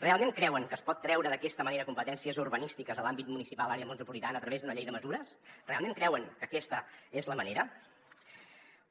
realment creuen que es pot treure d’aquesta manera competències urbanístiques a l’àmbit municipal àrea metropolitana a través d’una llei de mesures realment creuen que aquesta és la manera